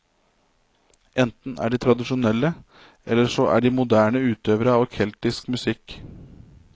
Enten er de tradisjonelle eller så er de moderne utøvere av keltisk musikk.